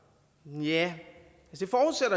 tja